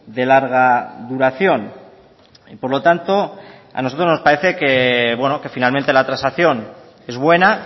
de larga duración y por lo tanto a nosotros nos parece que finalmente la transacción es buena